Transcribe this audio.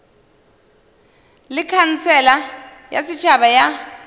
le khansele ya setšhaba ya